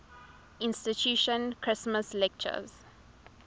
institution christmas lectures